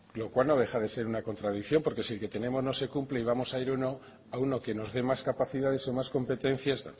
lo cual no deja de ser una contradicción porque si el que tenemos no se cumple y vamos a ir a uno que nos dé más capacidades o más competencias